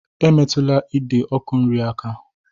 Emetụla ide ọkụ nri aka!